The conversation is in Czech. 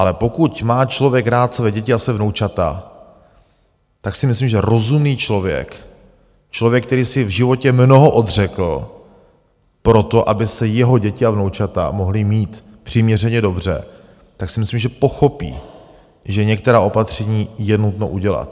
Ale pokud má člověk rád své děti a svá vnoučata, tak si myslím, že rozumný člověk, člověk, který si v životě mnoho odřekl proto, aby se jeho děti a vnoučata mohly mít přiměřeně dobře, tak si myslím, že pochopí, že některá opatření je nutno udělat.